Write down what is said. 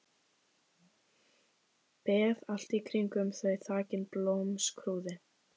Beð allt í kringum þau þakin blómskrúði.